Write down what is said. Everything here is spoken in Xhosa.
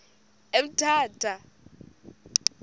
emthatha